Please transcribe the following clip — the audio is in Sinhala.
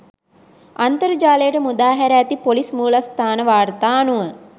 අන්තර්ජාලයට මුදාහැර ඇති පොලිස් මූලස්ථාන වාර්තා අනුව